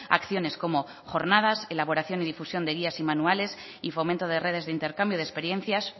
acciones como jornadas elaboración y difusión de guías y manuales y fomento de redes de intercambio de experiencias